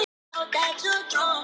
Það er saga á bak við það.